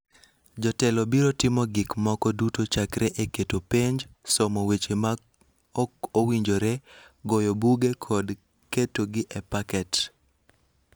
Jotelo biro timo gik moko duto chakre e keto penjo, somo weche ma ok owinjore, goyo buge kod ketogi e paket.